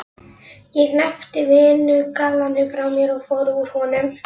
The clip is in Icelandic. Ég hneppti vinnugallanum frá mér og fór úr honum.